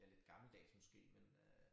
Jeg lidt gammeldags måske men øh